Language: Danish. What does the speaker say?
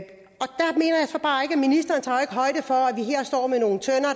ministeren tager højde for